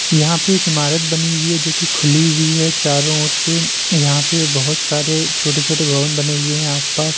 यहाँ पे एक इमारत बनी हुई है जोकि खुली हुई है। चारों और से यहां पे बहुत सारे छोटे छोटे भवन बने हुए आसपास।